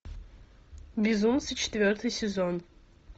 безумцы четвертый сезон